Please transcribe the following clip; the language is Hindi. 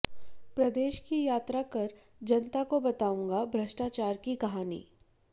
प्रदेश की यात्रा कर जनता को बताऊंगा भ्रष्टाचार की कहानी